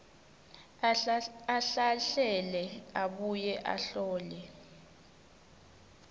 ahlahlele abuye ahlole